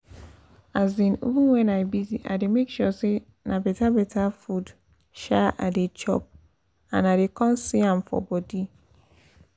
um even when i busy i dey make sure say na better better food um i dey chop and i dey um see am for body